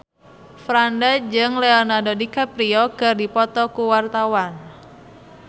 Franda jeung Leonardo DiCaprio keur dipoto ku wartawan